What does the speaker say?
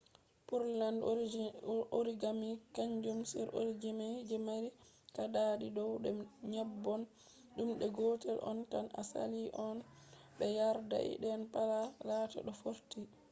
pureland origami kanjum on origami je mari kaadadi dow be nyobban dum de gotel on tan to saali non be yardai den pat laata do fortii